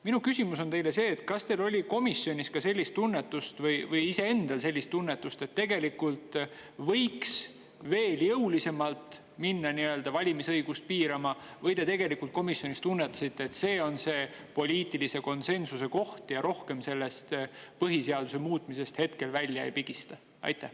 Minu küsimus teile on: kas komisjonis või teil endal oli ka sellist tunnetust, et tegelikult võiks veel jõulisemalt minna valimisõigust piirama, või te komisjonis tunnetasite, et see on poliitilise konsensuse koht ja rohkem sellest põhiseaduse muutmisest välja ei pigista?